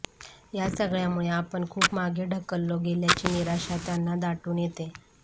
या सगळ्यांमुळे आपण खूप मागे ढकललो गेल्याची निराशा त्यांना दाटून येते